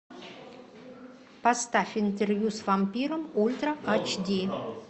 поставь интервью с вампиром ультра ач ди